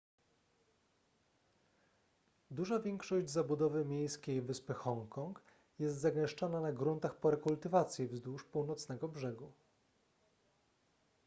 duża większość zabudowy miejskiej wyspy hongkong jest zagęszczona na gruntach po rekultywacji wzdłuż północnego brzegu